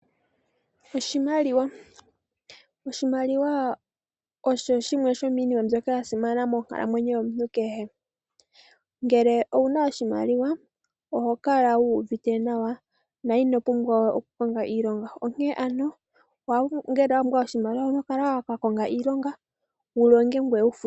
Oshimaliwa oshasimana monkalamwenyo yomuntu kehe. Ngele owuna oshimaliwa oho kala wu uvite nawa, na ino pumbwa okukonga iilonga. Omuntu owapumbwa okukonga iilonga ngoye wufutwe.